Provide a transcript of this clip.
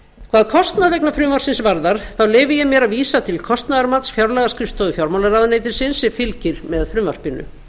hvað kostnað vegna frumvarpsins varðar þá leyfi ég mér að vísa til kostnaðarmats fjárlagaskrifstofu fjármálaráðuneytisins sem fylgir með frumvarpinu